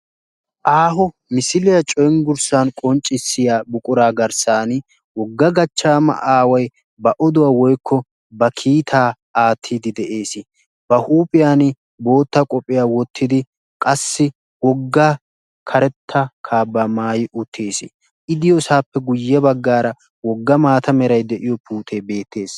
aaho misiliyaa cenggurssan qonccissiya buquraa garssan wogga gachchaama aawai ba oduwaa woykko ba kiitaa aattiidi de'ees ba huuphiyan bootta qophiyaa wottidi qassi wogga karetta kaa ba maayi utties i diyoosaappe guyye baggaara wogga maata meray de'iyo puutee beettees